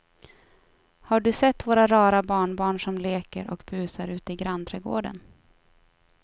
Har du sett våra rara barnbarn som leker och busar ute i grannträdgården!